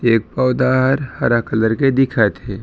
एक पौधा हर हरा कलर के दिखत हे।